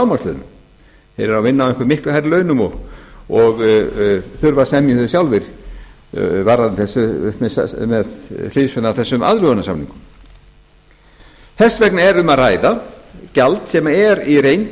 eru að vinna á einhverjum miklu hærri launum og þurfa að semja um þau sjálfir með hliðsjón af þessum aðlögunarsamningum þess vegna er um að ræða gjald sem er í reynd